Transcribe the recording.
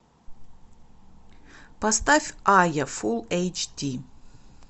поставь айя фул эйч ди